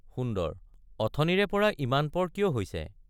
সুন্দৰ—অথনিৰেপৰা ইমানপৰ কিয় হৈছে?